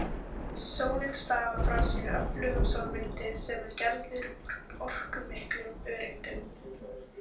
Sólin stafar frá sér öflugum sólvindi sem er gerður úr orkumiklum öreindum.